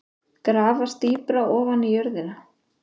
Grafast dýpra ofan í jörðina.